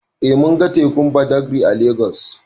Eh mun ga tekun Badagri a Legas.